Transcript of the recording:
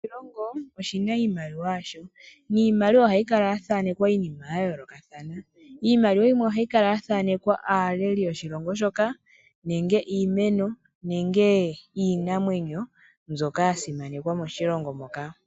Kehe oshilongo oshina iimaliwa yasho. Niimaliwa ohayi kala yaathanekwa iinima yayoolokathana. Iimaliwa yimwe ohayi kala yaathanekwa aaleli yoshilongo shoka nenge iinamwenyo nenge iimeno mbyoka yasimanekwa moshilongo moka.